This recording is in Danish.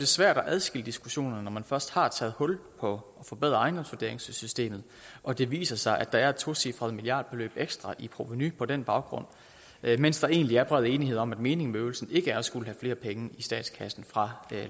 svært at adskille diskussionen når man først har taget hul på at forbedre ejendomsvurderingssystemet og det viser sig at der er et tocifret milliardbeløb ekstra i provenu på den baggrund mens der egentlig er bred enighed om at meningen med øvelsen ikke er at skulle have flere penge i statskassen fra